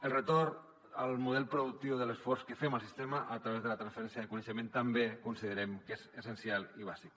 el retorn al model productiu de l’esforç que fem al sistema a través de la transferència de coneixement també considerem que és essencial i bàsic